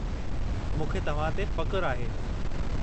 मूंखे तव्हां ते फ़खु़रु आहे।